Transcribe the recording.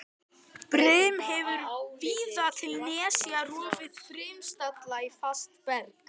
Brim hefur víða til nesja rofið brimstalla í fast berg.